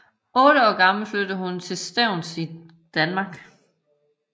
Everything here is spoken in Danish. Otte år gammel flyttede hun til Stevns i Danmark